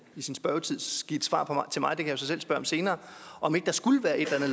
give et svar til mig det kan jeg så selv spørge om senere om ikke der skulle være et eller